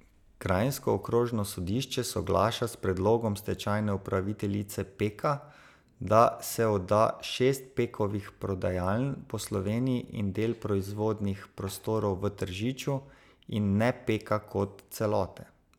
Kranjsko okrožno sodišče soglaša s predlogom stečajne upraviteljice Peka, da se odda šest Pekovih prodajaln po Sloveniji in del proizvodnih prostorov v Tržiču in ne Peka kot celote.